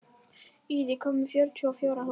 Ír, ég kom með fjörutíu og fjórar húfur!